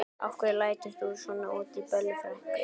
Af hverju lætur þú svona út í Bellu frænku?